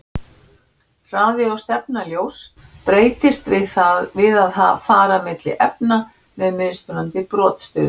Hraði og stefna ljóss breytist við að fara milli efna með mismunandi brotstuðul.